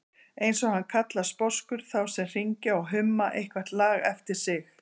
eins og hann kallar sposkur þá sem hringja og humma eitthvert lag eftir sig.